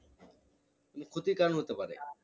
ক্ষতির কারণ হতে পারে